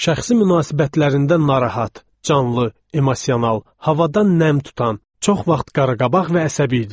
Şəxsi münasibətlərində narahat, canlı, emosional, havadan nəm tutan, çox vaxt qaraqabaq və əsəbi idi.